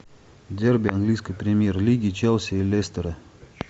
дерби английской премьер лиги челси и лестера